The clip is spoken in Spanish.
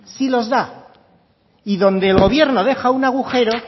sí los da y donde el gobierno deja un agujero